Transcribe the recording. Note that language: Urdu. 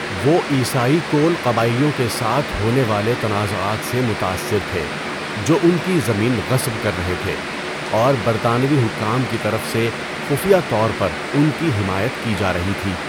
وہ عیسائی کول قبائلیوں کے ساتھ ہونے والے تنازعات سے متاثر تھے جو ان کی زمین غصب کر رہے تھے اور برطانوی حکام کی طرف سے خفیہ طور پر ان کی حمایت کی جا رہی تھی۔